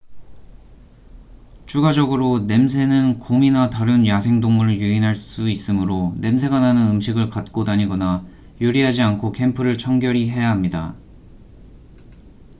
추가적으로 냄새는 곰이나 다른 야생동물을 유인할 수 있으므로 냄새가 나는 음식을 갖고 다니거나 요리하지 않고 캠프를 청결히 해야 합니다